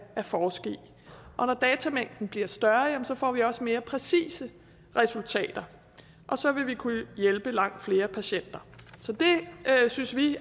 forske i når datamængden bliver større får vi også mere præcise resultater og så vil vi kunne hjælpe langt flere patienter så det synes vi